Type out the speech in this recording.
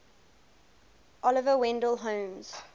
oliver wendell holmes